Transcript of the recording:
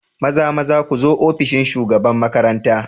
Mazamaza ku zo ofishin shugaban makaranta.